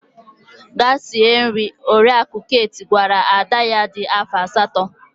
Gaa sie nri! Oriakụ Kate gwara ada ya dị afọ asatọ.